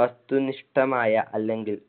വസ്തുനിഷ്ഠമായ അല്ലെങ്കിൽ